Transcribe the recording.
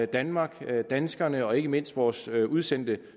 danmark danskerne og ikke mindst vores udsendte